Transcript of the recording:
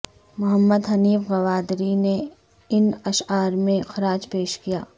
محمد حنیف گوادری نے ان اشعار میں خراج پیش کیا